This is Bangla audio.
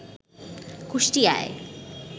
কুষ্টিয়ায়